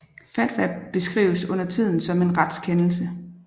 Fatwa beskrives undertiden som en retskendelse